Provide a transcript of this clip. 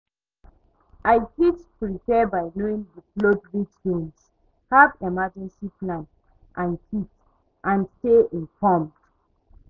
I fit prepare by knowing di flood risk zones, have emergencey plan and kit and stay informed.